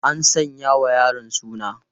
An sanya wa yaron suna?